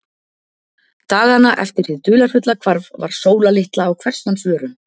Dagana eftir hið dularfulla hvarf var Sóla litla á hvers manns vörum.